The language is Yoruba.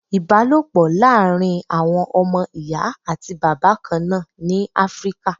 Ìbálòpọ̀ láàrin àwọn ọmọ Ìyá àti Bàbá kan náà ni Áfríkà.